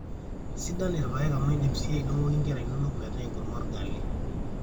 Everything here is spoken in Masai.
sidan irpaek amu iindim sii aidong'oki inkera inonok metaa enkurma orgali